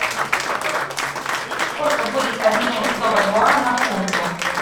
сколько будет обменять сто бальбоа на фунты